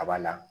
A b'a la